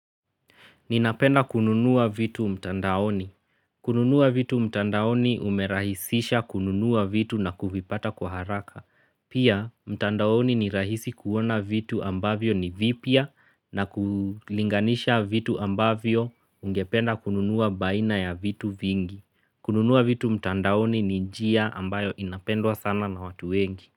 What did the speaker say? Ninapenda kununuwa vitu mtandaoni. Kununuwa vitu mtandaoni umerahisisha kununuwa vitu na kuvipata kwa haraka. Pia mtandaoni ni rahisi kuona vitu ambavyo ni vipia na kulinganisha vitu ambavyo ungependa kununuwa baina ya vitu vingi. Kununuwa vitu mtandaoni ni njia ambayo inapendwa sana na watu wengi.